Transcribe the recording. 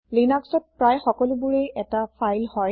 লিনাক্সত প্ৰায় সকলোবোৰেই এটা ফাইল হয়